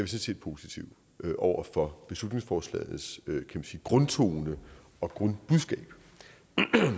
set positive over for beslutningsforslagets grundtone og grundbudskab